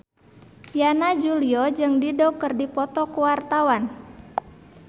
Yana Julio jeung Dido keur dipoto ku wartawan